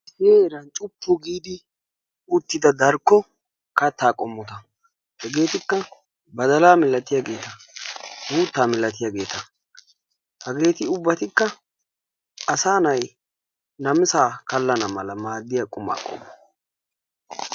hini heeran cuppu giidi uttida darkko kattaa qommota hegeetikka badalaa milatiyaageta uuttaa milatiyaageeta. haggeti ubbatikka asaa na'ay namisaa kallana mala maadiyaa qumaa qommo.